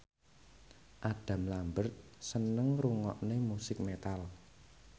Adam Lambert seneng ngrungokne musik metal